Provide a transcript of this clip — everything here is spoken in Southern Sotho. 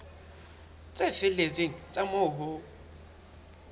tse felletseng tsa moo ho